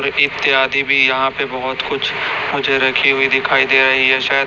इत्यादि भी यहां पे बहोत कुछ मुझे रखी हुई दिखाई दे रही है शायद--